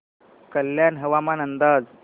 कल्याण हवामान अंदाज